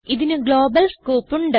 ഇതിന് global scope ഉണ്ട്